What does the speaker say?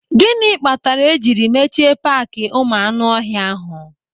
Gịnị kpatara e jiri mechie paaki ụmụ anụ ọhịa ahụ?